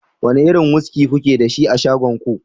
wane irin wuski kuke da shi a shagon ku